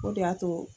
O de y'a to